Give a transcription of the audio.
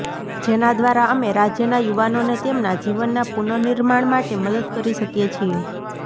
જેના દ્વારા અમે રાજ્યના યુવાનોને તેમના જીવનના પુનનિર્માણ માટે મદદ કરી શકીએ છીએ